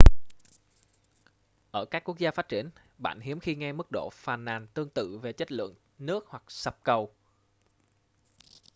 ở các quốc gia phát triển bạn hiếm khi nghe mức độ phàn nàn tương tự về chất lượng nước hoặc sập cầu